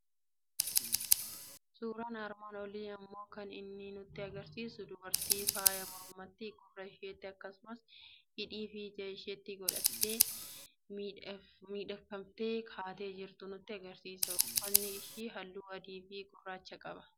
Suuraan armaan olii immoo kan inni nutti argisiisu dubartii faaya mormatti, gurra isheetti, akkasumas hidhii fi ija isheetti godhattee miifhagfamtee kaatee jirtu nutti argisiisa. Uffatni ishii halluu adii fi gurraacha qaba.